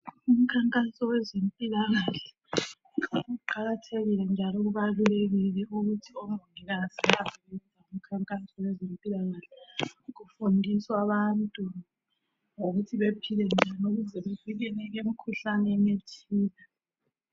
Umkhankaso wezempilakahle uqakathekile njalo ubalulekile ukuthi omongikazi bazi ngemkhankazo yezempilakahle . Kufundiswa abantu ngokuthi bephile njani ukuze bevikeleke emikhuhlaneni ethile.